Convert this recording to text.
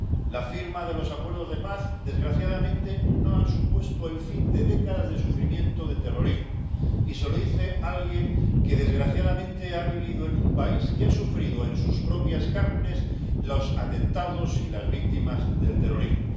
La firma de los acuerdos de paz, desgraciadamente, no ha supuesto el fin de décadas de sufrimiento de terrorismo, y eso lo dice alguien que, desgraciadamente, ha vivido en un país que ha sufrido en sus propias carnes los atentados y el dolor de las víctimas del terrorismo.